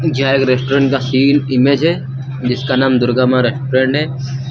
यह एक रेस्टोरेंट का सीन इमेज है जिसका नाम दुर्गा मां रेस्टोरेंट है।